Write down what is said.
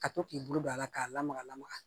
Ka to k'i bolo don a la k'a lamaga lamaga